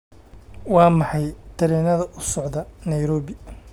waa maxay tareenada u socda nairobi